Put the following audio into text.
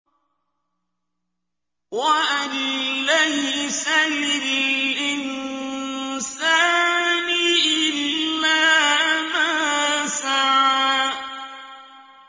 وَأَن لَّيْسَ لِلْإِنسَانِ إِلَّا مَا سَعَىٰ